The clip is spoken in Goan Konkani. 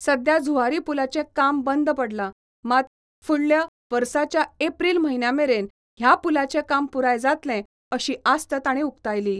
सद्या झुआरी पुलाचें काम बंद पडला, मात, फुडल्या वर्साच्या एप्रिल म्हयन्यामेरेन ह्या पुलाचें काम पुराय जातलें अशीं आस्त ताणी उक्तायली.